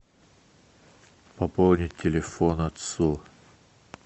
пополнить телефон отцу